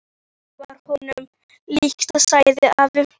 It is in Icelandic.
Það var honum líkt, sagði afi.